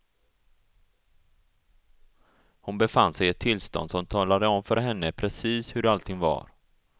Hon befann sig i ett tillstånd som talade om för henne precis hur allting var.